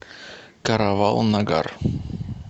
каравал нагар